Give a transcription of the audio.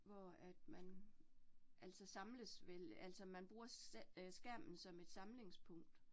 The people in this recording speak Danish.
Hvor at man, altså samles vel altså, man bruger øh skærmen som et samlingspunkt